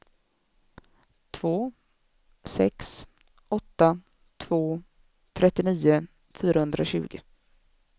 två sex åtta två trettionio fyrahundratjugo